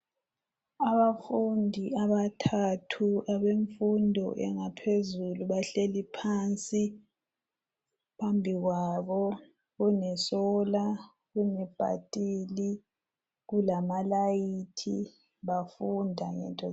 Abafundi abathathu abefundo engaphezulu, bahleli phansi. Phambi kwabo kune sola, kune bhathili kulamalayithi, bafunda ngezinto ezinengi.